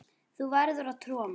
Þú verður að trúa mér.